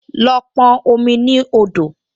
Lọ pọn omi ní odò!